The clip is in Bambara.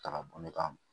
Ta ka bɔ ne ka